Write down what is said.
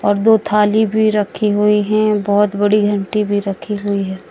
और दो थाली भी रखी हुई है बहोत बड़ी घंटी भी रखी हुई है।